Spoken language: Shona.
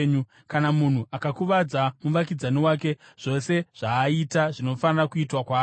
Kana munhu akakuvadza muvakidzani wake, zvose zvaaita zvinofanira kuitwa kwaari.